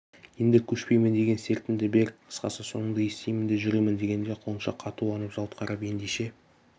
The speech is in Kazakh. енді көшпейім деген сертіңді бер қысқасы соныңды естимін де жүремін дегенде құлыншақ қатуланып жалт қарап ендеше